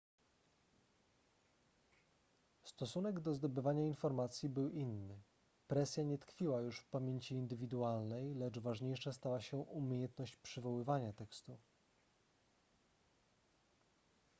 stosunek do zdobywania informacji był inny presja nie tkwiła już w pamięci indywidualnej lecz ważniejsza stała się umiejętność przywoływania tekstu